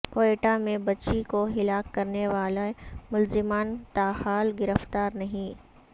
کوئٹہ میں بچی کو ہلاک کرنے والے ملزمان تاحال گرفتار نہیں